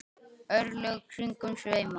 örlög kringum sveima